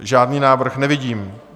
Žádný návrh nevidím.